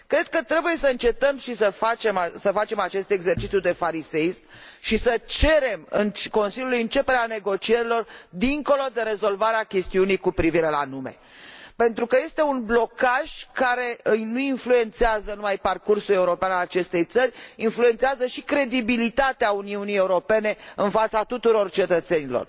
Cred că trebuie să încetăm să facem acest exercițiu de fariseism și să cerem Consiliului începerea negocierilor dincolo de rezolvarea chestiunii cu privire la nume, pentru că este un blocaj care nu influențează numai parcursul european al acestei țări, ci și credibilitatea Uniunii Europene în fața tuturor cetățenilor.